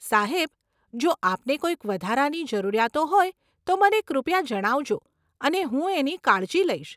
સાહેબ, જો આપને કોઈ વધારાની જરૂરિયાતો હોય, તો મને કૃપયા જણાવજો અને હું એની કાળજી લઈશ.